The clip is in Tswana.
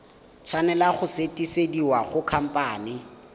tshwanela go sutisediwa go khamphane